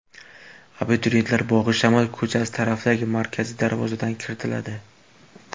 Abituriyentlar Bog‘ishamol ko‘chasi tarafdagi markaziy darvozadan kiritiladi.